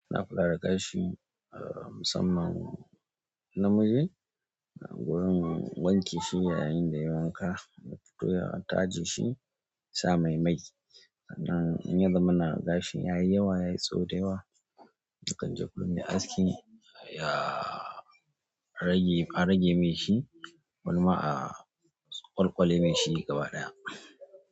Ina kula da tashi a, musamman namiji. Na gurin wanke shi yayin da yi wanka, na fito ya taje shi, sa mai mai. Sannan in zamana gashi yayi yawa, yayi tsawo da yawa. Ni kanje gun mai aski, yaa rage, an rage min shi. Wani ma a, ƙwalƙwale min shi gaba ɗaya.